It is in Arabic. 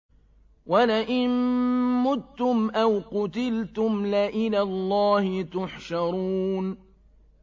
وَلَئِن مُّتُّمْ أَوْ قُتِلْتُمْ لَإِلَى اللَّهِ تُحْشَرُونَ